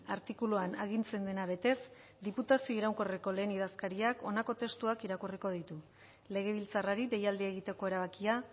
artikuluan agintzen dena betez diputazio iraunkorreko lehen idazkariak honako testuak irakurriko ditu legebiltzarrari deialdia egiteko erabakia